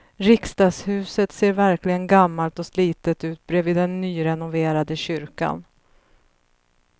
Riksdagshuset ser verkligen gammalt och slitet ut bredvid den nyrenoverade kyrkan.